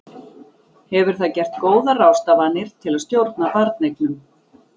Hefur það gert góðar ráðstafanir til að stjórna barneignum?